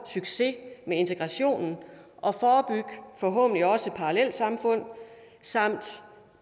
succes med integrationen og forhåbentlig også forebygge parallelsamfund samt